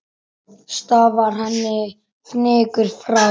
Stafar henni fnykur frá.